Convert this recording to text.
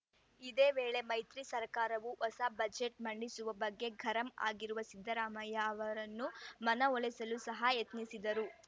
ಇದೇ ವೇಳೆ ಮೈತ್ರಿ ಸರ್ಕಾರವು ಹೊಸ ಬಜೆಟ್‌ ಮಂಡಿಸುವ ಬಗ್ಗೆ ಗರಂ ಆಗಿರುವ ಸಿದ್ದರಾಮಯ್ಯ ಅವರನ್ನು ಮನವೊಲಿಸಲು ಸಹ ಯತ್ನಿಸಿದರು